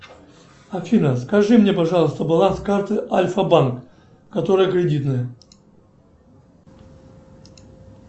афина скажи мне пожалуйста баланс карты альфа банк которая кредитная